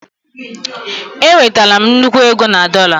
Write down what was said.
Enwetara m nnukwu ego na dollar